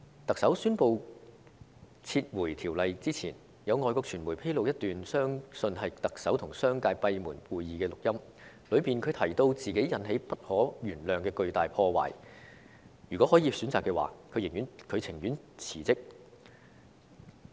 特首宣布撤回《條例草案》之前，有外國傳媒在9月初披露一段相信是特首與商界舉行閉門會議時的錄音，當中她提到自己造成不可原諒的巨大破壞，如果可以選擇的話，她寧願辭職。